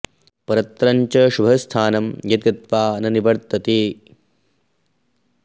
परत्र च शुभं स्थानं यद् गत्वा न निवर्तते